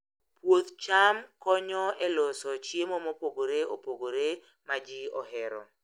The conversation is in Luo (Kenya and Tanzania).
Puoth cham konyo e loso chiemo mopogore opogore ma ji ohero.